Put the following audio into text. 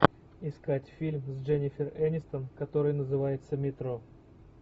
искать фильм с дженнифер энистон который называется метро